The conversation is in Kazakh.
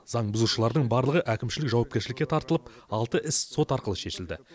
заң бұзушылардың барлығы әкімшілік жауапкершілікке тартылып алты іс сот арқылы шешілді